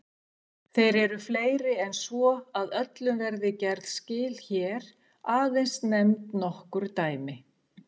Þeir eru fleiri en svo að öllum verði gerð skil hér, aðeins nefnd nokkur dæmi.